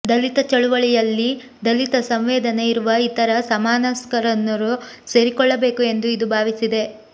ದಲಿತ ಚಳುವಳಿಯಲ್ಲಿ ದಲಿತ ಸಂವೇದನೆ ಇರುವ ಇತರ ಸಮಾನಮನಸ್ಕರೂ ಸೇರಿಕೊಳ್ಳಬೇಕು ಎಂದು ಇದು ಭಾವಿಸಿದೆ